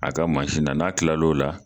A ka n'a kilala o la